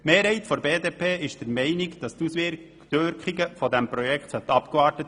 Die Mehrheit der BDP ist der Meinung, die Auswirkungen dieses Projekts seien abzuwarten.